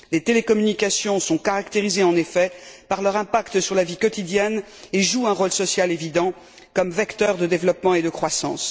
Les télécommunications sont caractérisées, en effet, par leur impact sur la vie quotidienne et jouent un rôle social évident comme vecteur de développement et de croissance.